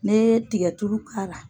N'e ye tigɛ turu k'a ra